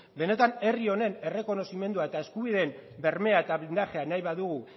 benetan herri honen errekonozimendua eta eskubideen bermea eta blindajea nahi badugu